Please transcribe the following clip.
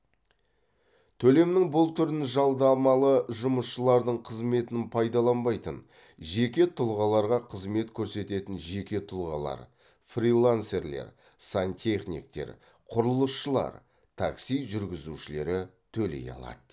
төлемнің бұл түрін жалдамалы жұмысшылардың қызметін пайдаланбайтын жеке тұлғаларға қызмет көрсететін жеке тұлғалар фрилансерлер сантехниктер құрылысшылар такси жүргізушілері төлей алады